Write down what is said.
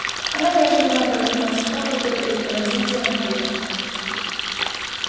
она неожиданно повернулась к роботу и пронзительно крикнула